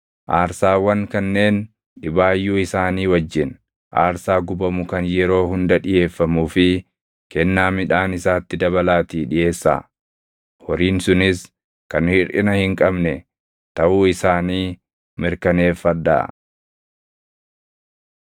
Aarsaawwan kanneen dhibaayyuu isaanii wajjin, aarsaa gubamu kan yeroo hunda dhiʼeeffamuu fi kennaa midhaan isaatti dabalaatii dhiʼeessaa; horiin sunis kan hirʼina hin qabne taʼuu isaanii mirkaneeffadhaa.